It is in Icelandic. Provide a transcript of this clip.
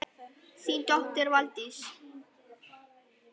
Þín dóttir, Valdís.